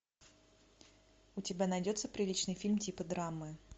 у тебя найдется приличный фильм типа драмы